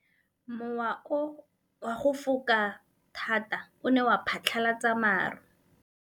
Mowa o wa go foka tota o ne wa phatlalatsa maru.